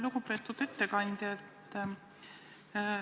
Lugupeetud ettekandja!